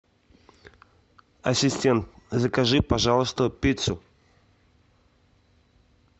ассистент закажи пожалуйста пиццу